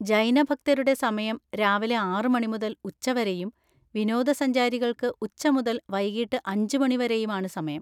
ജൈന ഭക്തരുടെ സമയം രാവിലെ ആറ് മണി മുതൽ ഉച്ചവരെയും വിനോദസഞ്ചാരികൾക്ക് ഉച്ച മുതൽ വൈകീട്ട് അഞ്ച് മണി വരെയും ആണ് സമയം.